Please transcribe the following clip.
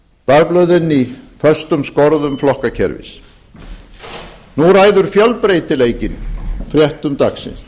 voru í föstum skorðum flokkakerfis nú ræður fjölbreytileikinn fréttum dagsins